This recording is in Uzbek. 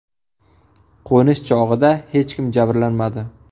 Qo‘nish chog‘ida hech kim jabrlanmadi.